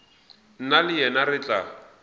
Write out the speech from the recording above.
nna le yena re tla